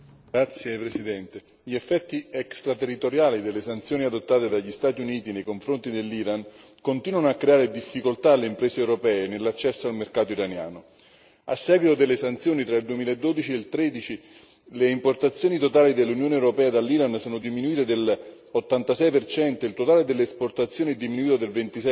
Signora Presidente, onorevoli colleghi, gli effetti extra territoriali delle sanzioni adottate dagli Stati Uniti nei confronti dell'Iran continuano a creare difficoltà alle imprese europee nell'accesso al mercato iraniano. A seguito delle sanzioni tra il 2012 e il 2013, le importazioni totali dell'Unione europea dall'Iran sono diminuite dell'86 e il totale delle esportazioni è diminuito del